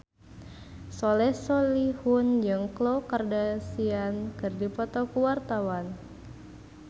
Soleh Solihun jeung Khloe Kardashian keur dipoto ku wartawan